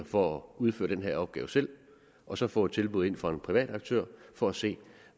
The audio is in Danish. for at udføre den her opgave selv og så få et tilbud fra en privat aktør for at se